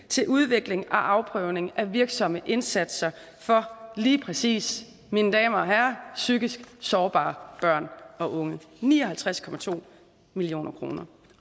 til udvikling og afprøvning af virksomme indsatser for lige præcis mine damer og herrer psykisk sårbare børn og unge ni og halvtreds million kr